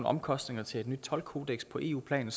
omkostninger til et nyt toldkodeks på eu plan